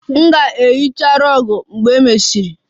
M ga-ehicha rug mgbe e mesịrị